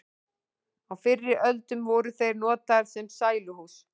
á fyrri öldum voru þeir notaðir sem sæluhús